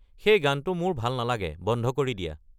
সেই গানটো মোৰ ভাল নালাগে বন্ধ কৰি দিয়া